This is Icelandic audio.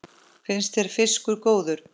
Finnst þér fiskur góður?